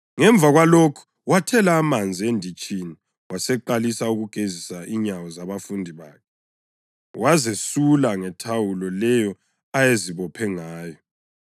Ngemva kwalokho, wathela amanzi enditshini waseqalisa ukugezisa inyawo zabafundi bakhe, wazesula ngethawulo leyo ayezibophe ngayo.